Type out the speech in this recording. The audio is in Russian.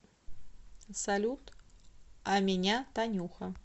салют а меня танюха